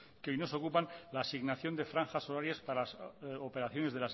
que hoy nos ocupan la asignación de franjas horarias para operaciones